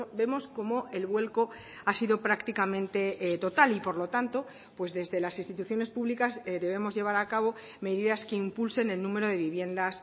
vemos cómo el vuelco ha sido prácticamente total y por lo tanto pues desde las instituciones públicas debemos llevar a cabo medidas que impulsen el número de viviendas